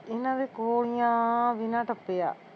ਇਹਨਾਂ ਦਾ ਕੋਹਲੀਆਂ ਵੀ ਨਾ ਟਪਿਆ